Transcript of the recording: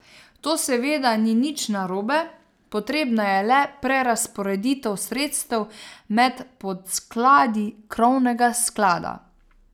To seveda ni nič narobe, potrebna je le prerazporeditev sredstev med podskladi krovnega sklada.